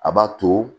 A b'a to